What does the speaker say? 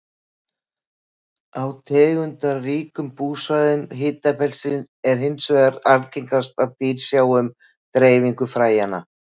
Á tegundaríkum búsvæðum hitabeltisins er hins vegar algengast að dýr sjái um dreifingu fræjanna.